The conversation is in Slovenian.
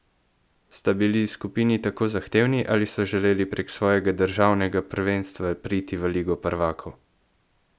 Sta bili skupini tako zahtevni ali so želeli prek svojega državnega prvenstva priti v ligo prvakov?